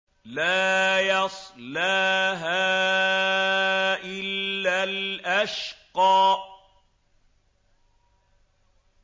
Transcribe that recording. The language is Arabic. لَا يَصْلَاهَا إِلَّا الْأَشْقَى